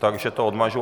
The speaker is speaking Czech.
Takže to odmažu.